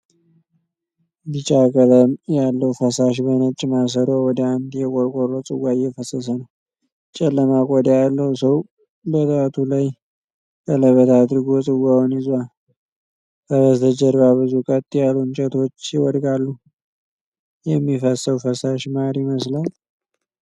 ቢጫ ቀለም ያለው ፈሳሽ በነጭ ማሰሮ ወደ አንድ የቆርቆሮ ጽዋ እየፈሰሰ ነው። ጨለማ ቆዳ ያለው ሰው በጣቱ ላይ ቀለበት አድርጎ ጽዋውን ይዟል። ከበስተጀርባ ብዙ ቀጥ ያሉ እንጨቶች ይወድቃሉ። የሚፈሰው ፈሳሽ ማር ይመስላል?